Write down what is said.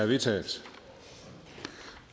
vedtaget